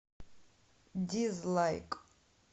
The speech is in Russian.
дизлайк